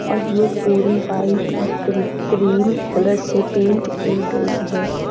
और ये पूरी व्हाइट और क्रि क्रीम कलर से पेंट की गई है।